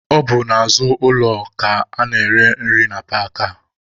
Ọ bụ n'azụ ụlọ ka a na-ere nri na paakị a.